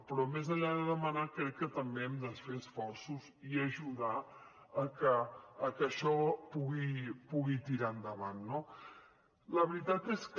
però més enllà de demanar crec que també hem de fer esforços i ajudar a que això pugui tirar endavant no la veritat és que